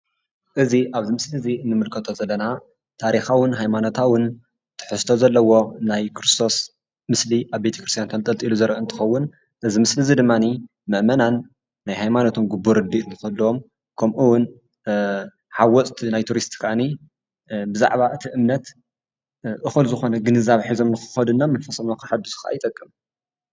እዚ ኣብዚ ምስሊ እንምልከቶ ዘለና ታሪካዊን ሃይማኖታዊን ትሕዝቶ ዘለዎ ናይ ክርስቶስ ምስሊ ኣብ ቤተ ክርስትያን ተንጠልጢሉ ዝረአ እንትከውን እዚ ምስሊ ድማኒ መእመናን ናይ ሃይማኖቶም ግቡእ ርዲአት ንክህልዎምን ከምኡ እውን ሃወፅትን ቱሪስትን ከኣኒ ብዛዕባ እቲ እምነት እኩል ዝኮነ ግንዛቤ ሒዞም ንክከዱ መንፈሶም ከሕድሱ ከኣ ይጠቅም፡፡